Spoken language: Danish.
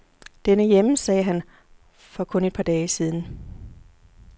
Den er hjemme, sagde han for kun et par dage siden.